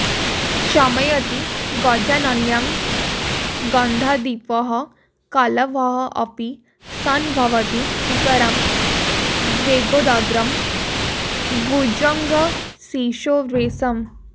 शमयति गजानन्यान् गन्धद्विपः कलभोऽपि सन् भवति सुतरां वेगोदग्रं भुजङ्गशिशोर्विषम्